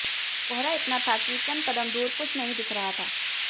कोहरा इतना था कि चंद कदम दूर कुछ नहीं दिख रहा था